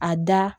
A da